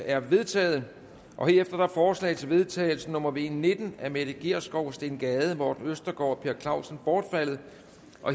er vedtaget herefter er forslag til vedtagelse nummer v nitten af mette gjerskov steen gade morten østergaard og per clausen bortfaldet